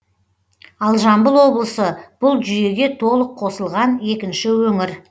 ал жамбыл облысы бұл жүйеге толық қосылған екінші өңір